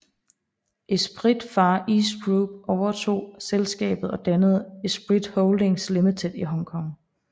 Esprit Far East Group overtog selskabet og dannede Esprit Holdings Limited i Hong Kong